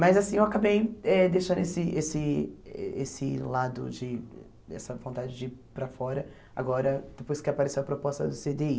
Mas, assim, eu acabei eh deixando esse esse esse lado de, essa vontade de ir para fora, agora, depois que apareceu a proposta do cê dê i.